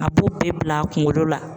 A b'o bɛɛ bila a kunkolo la.